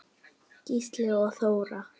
Gísli og Þóra.